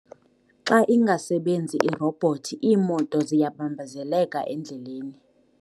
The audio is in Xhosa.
Xa ingasebenzi irobhothi iimoto ziyabambezeleka endleleni.